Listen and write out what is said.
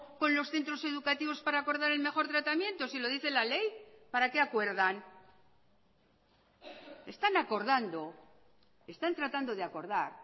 con los centros educativos para acordar el mejor tratamiento si lo dice la ley para qué acuerdan están acordando están tratando de acordar